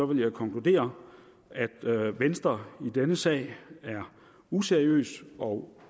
vil jeg konkludere at venstre i denne sag er useriøs og